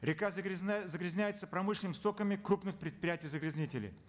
река загрязняется промышленными стоками крупных предприятий загрязнителей